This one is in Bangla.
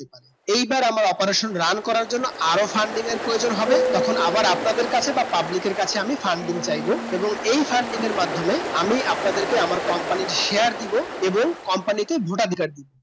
এইবার আমার operation রান করার জন্য আরো funding প্রয়জন হবে তখন আবার আপনাদের কাছে বা public এর কাছে আমি funding চাইব এবং এই funding মাধ্যামে আমি আপনাদিকে আমার company সেয়াই দিব এবং company কে ভোট অধিকার দিবো